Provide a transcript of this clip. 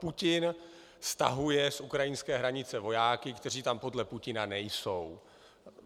Putin stahuje z ukrajinské hranice vojáky, kteří tam podle Putina nejsou.